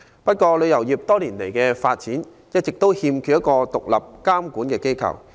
不過，旅遊業多年來一直缺乏獨立的監管機構。